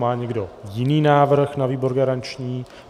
Má někdo jiný návrh na výbor garanční?